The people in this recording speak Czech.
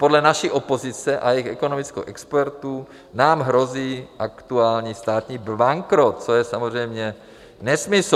Podle naší opozice a jejich ekonomických expertů nám hrozí aktuální státní bankrot, což je samozřejmě nesmysl.